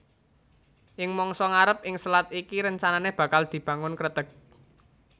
Ing mangsa ngarep ing selat iki rencanané bakal dibangun kreteg